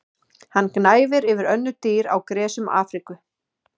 Hann gnæfir yfir önnur dýr á gresjum Afríku.